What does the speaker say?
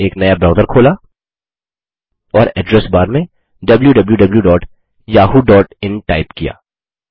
फिर एक नया ब्राउज़र खोला और एड्रेस बार में wwwyahooin टाइप किया